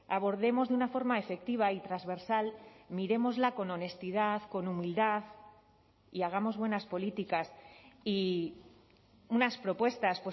abordemos de una forma efectiva y transversal mirémosla con honestidad con humildad y hagamos buenas políticas y unas propuestas